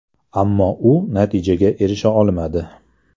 Ammo u natijaga erisha olmadi.